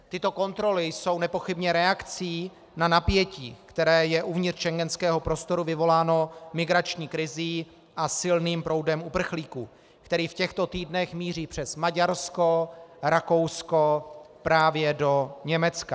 Tyto kontroly jsou nepochybně reakcí na napětí, které je uvnitř schengenského prostoru vyvoláno migrační krizí a silným proudem uprchlíků, který v těchto týdnech míří přes Maďarsko, Rakousko právě do Německa.